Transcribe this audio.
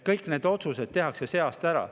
Kõik need otsused tehakse see aasta ära.